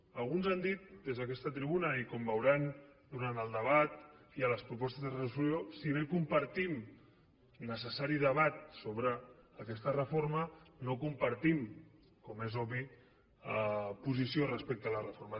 com alguns han dit des d’aquesta tribuna i com veuran durant el debat i a les propostes de resolució si bé compartim el necessari debat sobre aquesta reforma no compartim com és obvi posició respecte la reforma